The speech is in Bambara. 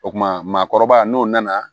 O kuma maakɔrɔba n'o nana